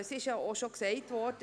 Es ist schon erwähnt worden: